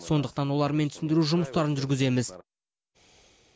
сондықтан олармен түсіндіру жұмыстарын жүргіземіз